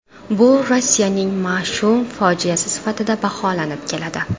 Bu Rossiyaning mash’um fojiasi sifatida baholanib keladi.